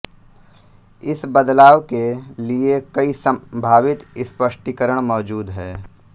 इस बदलाव के लिए कई संभावित स्पष्टीकरण मौजूद हैं